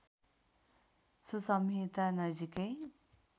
so संहिता नजिकै